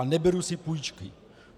A neberu si půjčky.